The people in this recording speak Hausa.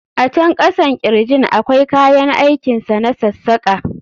A can kasan kirjin akwai kayan aikin sa na sassaka.